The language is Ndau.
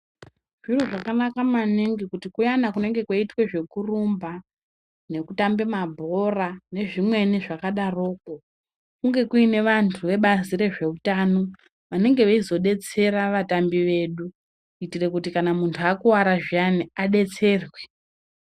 Zviro zvakanaka maningi kuti kuyana kunenge kweitwe zvekurumba nekutambe mabhora nezvimweni zvakadoroko kunge kuine vantu vebazi rezveutano vanenge veizodetsere vatambi vedu kuitire kuti kana munhu akuwara zviyani adetserwe.